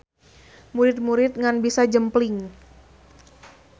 Murid-murid ngan bisa jempling.